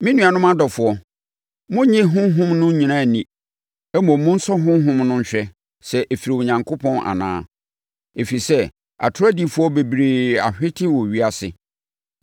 Me nuanom adɔfoɔ monnnye honhom no nyinaa nni. Mmom monsɔ honhom no nhwɛ sɛ ɛfiri Onyankopɔn anaa. Ɛfiri sɛ, atorɔ adiyifoɔ bebree ahwete wɔ ewiase.